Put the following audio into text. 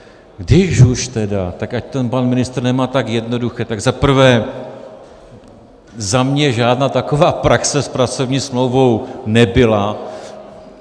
Když už tedy, tak ať to pan ministr nemá tak jednoduché, tak za prvé, za mě žádná taková praxe s pracovní smlouvou nebyla.